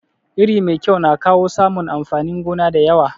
Iri mai kyau na kawo samun amfanin gona da yawa.